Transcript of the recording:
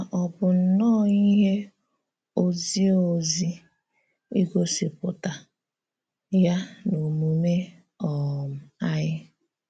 Ma ọ bụ nnọọ íhè òzìọ̀zì ígòsìpùtà yá n’òmúmè um anyị.